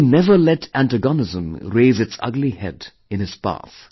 But he never let antagonism raise its ugly head in his path